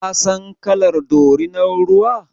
Ka san kalar dorinan ruwa?